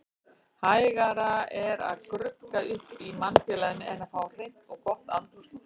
Hægara er að grugga upp í mannfélaginu en að fá hreint og gott andrúmsloft.